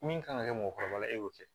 Min kan ka kɛ mɔgɔkɔrɔba e y'o kɛ